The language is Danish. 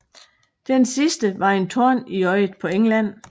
Det sidste var en torn i øjet på England